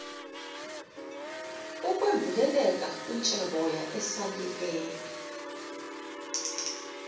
ukwembuleleka kwitsheboya elisasilele